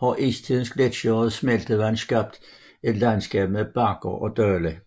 har istidens gletsjere og smeltevand skabt et landskab med bakker og dale